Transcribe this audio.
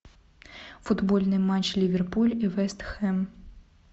футбольный матч ливерпуль и вест хэм